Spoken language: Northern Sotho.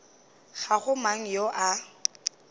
ga go mang yo a